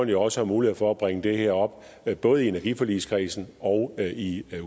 jo også mulighed for at bringe det her op i både energiforligskredsen og i